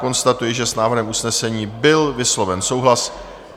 Konstatuji, že s návrhem usnesení byl vysloven souhlas.